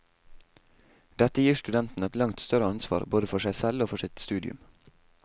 Dette gir studenten et langt større ansvar, både for seg selv og for sitt studium.